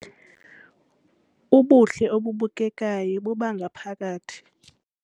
Ubuhle obubukekayo bobangaphakathi